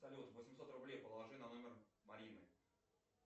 салют восемьсот рублей положи на номер марины